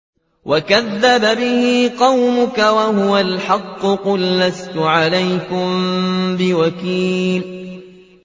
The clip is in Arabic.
وَكَذَّبَ بِهِ قَوْمُكَ وَهُوَ الْحَقُّ ۚ قُل لَّسْتُ عَلَيْكُم بِوَكِيلٍ